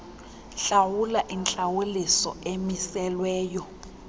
hlawula intlawuliso emiselweyo